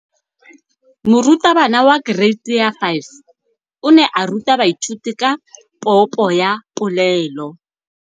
Moratabana wa kereiti ya 5 o ne a ruta baithuti ka popô ya polelô.